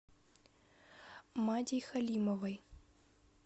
мадей халимовой